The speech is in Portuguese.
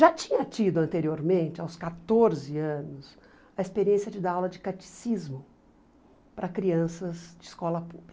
Já tinha tido anteriormente, aos quatorze anos, a experiência de dar aula de catecismo para crianças de escola pública.